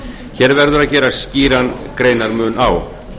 hér verður að gera skýran greinarmun á